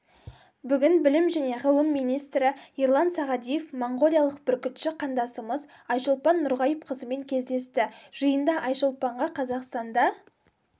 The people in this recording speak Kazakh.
бүгін білім және ғылым министрі ерлан сағадиев моңғолиялық бүркітші қандасымыз айшолпан нұрғайыпқызымен кездесті жиында айшолпанға қазақстанда